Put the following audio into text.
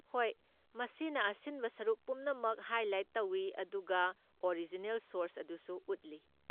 ꯍꯣꯏ, ꯃꯁꯤꯅ ꯑꯁꯤꯟꯕ ꯁꯔꯨꯛ ꯄꯨꯝꯅꯃꯛ ꯍꯥꯏꯂꯥꯏꯠ ꯇꯧꯏ ꯑꯗꯨꯒ ꯑꯣꯔꯤꯖꯤꯅꯦꯜ ꯁꯣꯔꯁ ꯑꯗꯨꯁꯨ ꯎꯠꯂꯤ꯫